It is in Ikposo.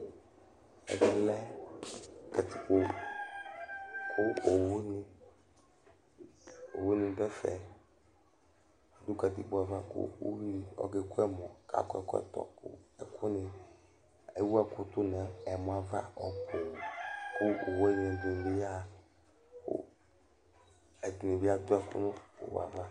Ɛvɛlɛ katikpo kʋ owuní ɖu ɛfɛ Uvìɖí ɔka ku ɛmɔ kʋ akɔ ɛkɔtɔ Ewu ɛku tu ŋu ɛmɔ ava ɔbu kʋ owu ɖìŋí bi ɣaha Ɛɖìní bi aɖu ɛku ŋu owue ava